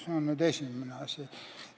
See on esimene asi.